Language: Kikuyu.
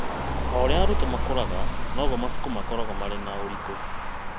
O ũrĩa arutwo makũraga, noguo mabuku makoragwo marĩ na ũritũ.